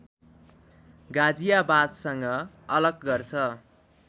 गाजियाबादशँग अलग गर्छ